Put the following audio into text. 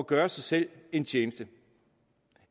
gøre sig selv en tjeneste